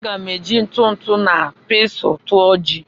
M ga-eji ntụ ntụ na pestle tụọ ji